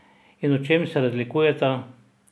In v čem se razlikujeta?